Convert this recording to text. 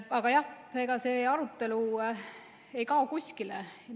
Aga jah, ega see arutelu ei kao kuskile.